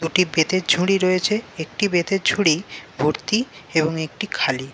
দুটি বেতের ঝুড়ি রয়েছে। একটি বেতের ঝুড়ি ভর্তি এবং একটি খালি।